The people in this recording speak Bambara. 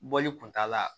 Bɔli kun t'a la